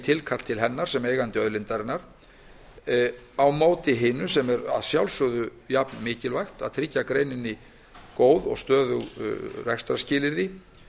skynsamlegri fiskveiðistjórn þjóðin er eigandi auðlindarinnar hins vegar er að sjálfsögðu jafnmikilvægt að tryggja greininni góð og stöðug rekstrarskilyrði